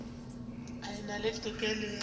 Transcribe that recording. e na le tokelo ya